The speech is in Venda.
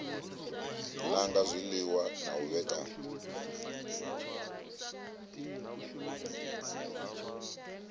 nanga zwiliṅwa na u vhekanya